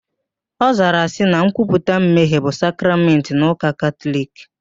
Ọ zara sị na nkwuputa mmehie bụ sakramentị n'ụka Katọliki